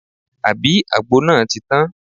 Àbí àgbo náà ti tán?